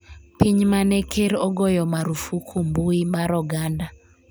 piny mane ker ogoyo marufuku mbui mar oganda